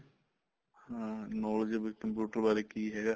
ਹਾਂ knowledge ਬੀ computer ਬਾਰੇ ਕੀ ਹੈਗਾ